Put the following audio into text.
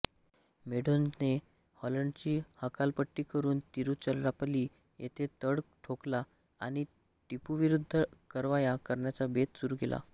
मेडोझने हॉलंडची हकालपट्टी करून तिरुचिरापल्ली येथे तळ ठोकला आणि टिपूविरुद्ध कारवाया करण्याचा बेत सुरू केला